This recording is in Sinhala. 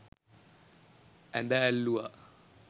ඇද ඇල්ලුවා.